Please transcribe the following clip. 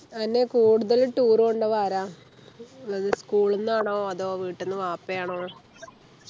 അന്നേ കൂടുതൽ tour കൊണ്ടുപോവുക ആരാ അത് school ന്നാണോ അതോ വീട്ടിന്നു വാപ്പയാണോ